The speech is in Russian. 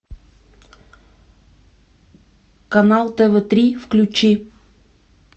канал тв три включи